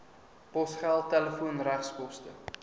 posgeld telefoon regskoste